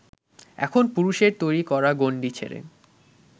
এখন পুরুষের তৈরি করা গণ্ডি ছেড়ে